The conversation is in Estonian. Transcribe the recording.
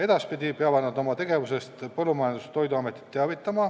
Edaspidi peavad nad oma tegevusest teavitama Põllumajandus- ja Toiduametit.